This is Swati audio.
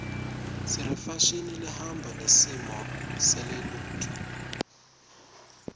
sirefashini lehamba nesimo selotulu